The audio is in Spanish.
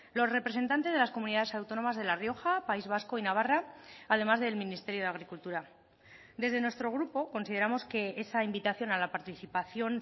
los representantes de las comunidades autónomas de la rioja país vasco y navarra además del ministerio de agricultura desde nuestro grupo consideramos que esa invitación a la participación